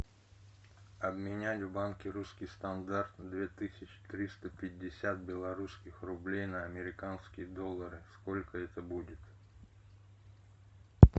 обменять в банке русский стандарт две тысячи триста пятьдесят белорусских рублей на американские доллары сколько это будет